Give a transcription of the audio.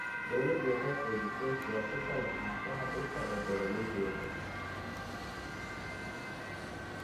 Dawladdu waxay xoojisay siyaasadda lahaanshaha dhulka ee beeralayda yaryar.